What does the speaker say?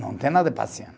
Não tem nada